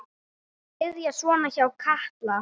Þetta byrjaði svona hjá Kalla.